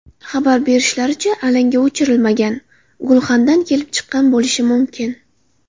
Xabar berishlaricha, alanga o‘chirilmagan gulxandan kelib chiqqan bo‘lishi mumkin.